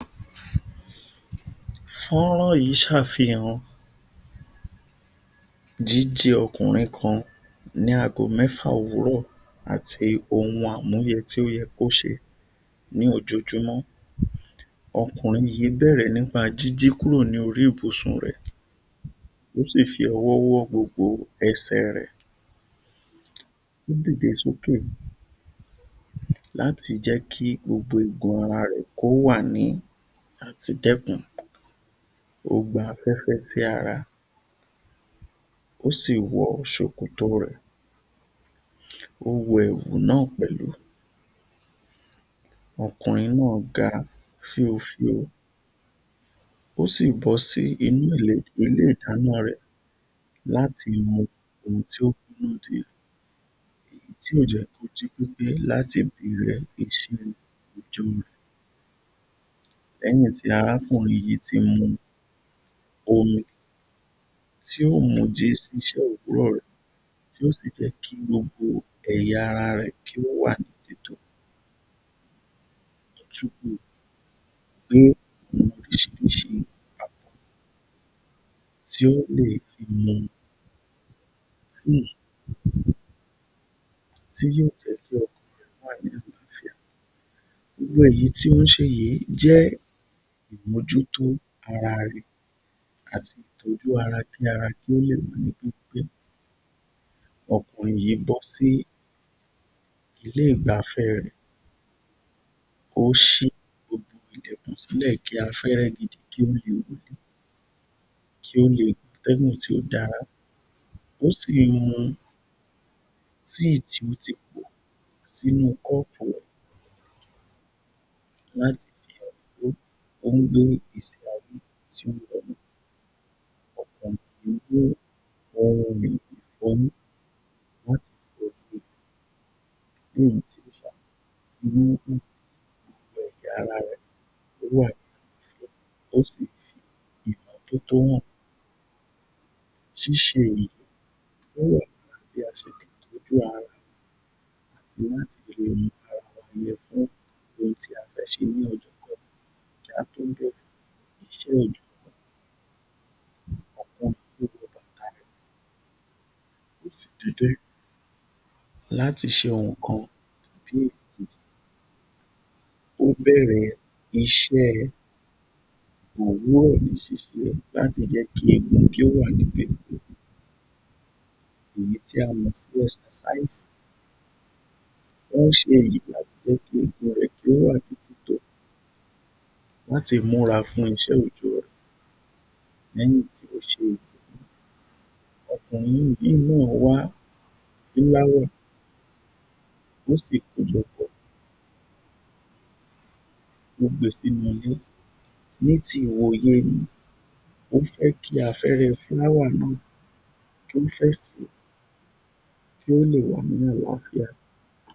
Fọ́nrán yìí ń ṣàfìhàn jíjí ọkùnrin kan ní aago mẹ́fà òwúrọ̀ àti ohun amúyẹ tí ó yẹ kí o ṣe ni ojoojúmọ́. Ọkùnrin yìí bẹ̀rẹ̀ nípa jíjí kúrò ní orí ibùsùn rẹ, ó sì fi ọwọ́ wọ́ gbogbo ẹ̀sẹ̀ rẹ. Ó dìde sókè, láti jẹ kí gbogbo igun ara rẹ kì ó wà ní àti dẹkùn, ó gba afẹ́fẹ́ sì ara, ó si wọ ṣòkòtò rẹ, ó wọ ẹ̀wù náà pẹ̀lú, ọkùnrin náà ga fíofío ó sì bọ́ sínú[ile] ilé ìdáná rẹ láti mọ ohun tí ó yóò jẹ, èyí tí ó jẹ kì ó jí pépé láti ọjọ́ rẹ. Lẹ́yìn tí arákùnrin yìí tí mu omi, tí yóò mu jí sí iṣẹ́ òwúrọ̀ rẹ tí yóò sí jẹ kí gbogbo ẹ̀yà ara rẹ kí ó wà ní títò, yóò wò oríṣiríṣi àbò tí ó lè fi mu tíì, tí yóò jẹ ki ọkàn rẹ wà ní àlàáfíà. Gbogbo èyí tí ó ń ṣe yìí jẹ imojútó ara àti ìtọ́jú ara kí ara ó lè jí pépé. Ọkùnrin yìí bọ́ sí ilé igbáfẹ́ rẹ, ó ṣì ojú ilẹ̀kùn sílẹ̀ kí afẹ́rẹ́ gidi kí ó lè wọ, atẹ́gùn tí ó dára, ó sì ń mu tíì tí ó ti pò sínú kọ́ọ̀pù rẹ láti fi hàn pé ó wí pé gbé ìgbésí ayé tí ó rọrùn. Ọkùnrin yìí gbé ohùn èlò ifọ́yín[] kí ẹ̀yà ara rẹ wà ní àlàáfíà, ó sì fi ìmọ̀tótó hàn. Ṣíṣe èyí ó rọ̀ mọ bí a ṣe lé tọ́jú ara, àti láti lè gbé ara lẹ́ fún ohun tí a fẹ́ ṣe ni ọjọ́kọ́jọ́, kí a tó dé iṣẹ́ oójó. Ọkùnrin yìí wọ bàtá rẹ, o si de jẹ́ láti ṣe nǹkan àbí èkejì, ó bẹ̀rẹ̀ iṣẹ́ òwúrọ̀ ni ṣiṣẹ́ láti jẹ kí eégún kí ó wà ní bẹ̀rẹ̀ èyí tí a mọ̀ sí Ẹsẹsáásì"Exercise" ó ń ṣe èyí láti jẹ kí egungun rẹ kí o wà ní títò, la tí múra fún iṣẹ́ oójó rẹ lẹ́yìn tí ó ṣe èyí, Ọkùnrin yìí, ó lọ wà fúláwà ó sì kó jọ pọ̀ rẹ, ó gbé sínú ilé, ní ti ìwòye mi, o fẹ́ kí afẹ́rẹ́ fúláwà kí ó fẹ́ sì, kí ó lè wá ní àlàáfíà.